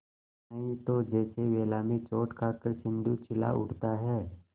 नहीं तो जैसे वेला में चोट खाकर सिंधु चिल्ला उठता है